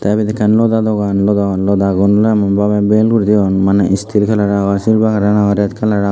te ibet ekkan loda dogan loda lodagun oley emon babey bel guri toyon maney steel kalaror agon silver kalar agey red kalar agey.